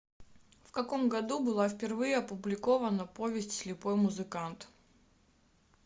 в каком году была впервые опубликована повесть слепой музыкант